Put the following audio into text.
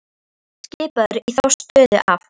Hann var skipaður í þá stöðu af